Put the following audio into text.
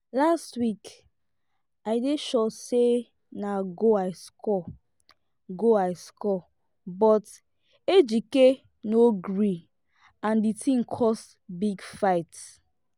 last week i dey sure say na goal i score goal i score but ejike no gree and the thing cause big fight